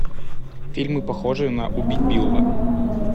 фильмы похожие на убить билла